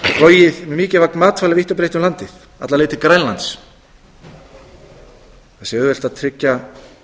með mikilvæg matvæli vítt og breitt um landið alla leið til grænlands það sé auðvelt að tryggja